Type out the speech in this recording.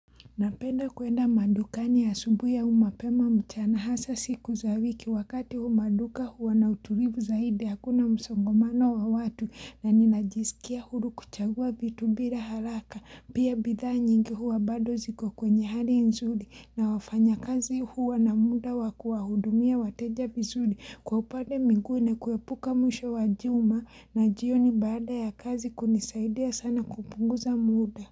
Napenda kuenda madukani ya asubuhi ya au mapema mchana hasa siku za wiki wakati maduka huwa na utulivu zaidi hakuna msongomano wa watu na ninajisikia huru kuchagua vitu bila haraka pia bidhaa nyingi huwa bado ziko kwa kwenye hali nzuri na wafanya kazi huwa na muda wakuwa hudumia wateja vizuri kwa upade mwingine kuepuka mwisho wa juma na jioni bada ya kazi kunisaidia sana kupunguza muda.